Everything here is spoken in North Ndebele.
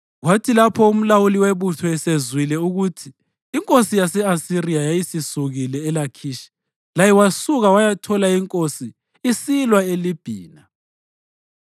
Kwathi lapho umlawuli webutho esezwile ukuthi inkosi yase-Asiriya yayisisukile eLakhishi, laye wasuka wayathola inkosi isilwa leLibhina.